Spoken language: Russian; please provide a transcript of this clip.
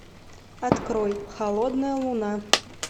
открой холодная луна